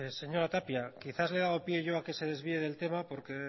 señora tapia quizás le he dado pie yo a que se desvíe del tema porque